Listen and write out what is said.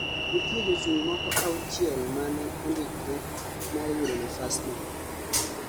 nitie jochung' moko auchiel mane ondikre mar yudo nafas no